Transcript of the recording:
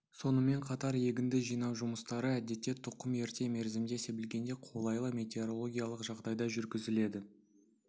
сонымен қатар егінді жинау жұмыстары әдетте тұқым ерте мерзімде себілгенде қолайлы метеорологиялық жағдайда жүргізіледі